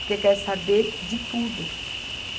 Porque quer saber de tudo.